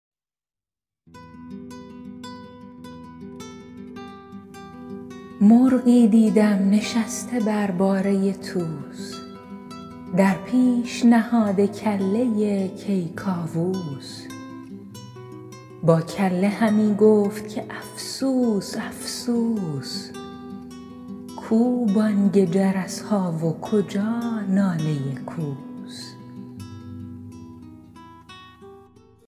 مرغی دیدم نشسته بر باره طوس در پیش نهاده کله کیکاووس با کله همی گفت که افسوس افسوس کو بانگ جرس ها و کجا ناله کوس